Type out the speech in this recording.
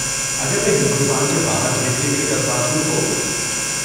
اگر میں ہندوستان کے باہر بھیجنے کے لیے درخواست دوں تو؟